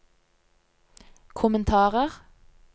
kommentarer